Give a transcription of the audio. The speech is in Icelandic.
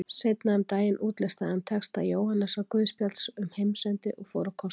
Seinna um daginn útlistaði hann texta Jóhannesarguðspjalls um heimsendi og fór á kostum.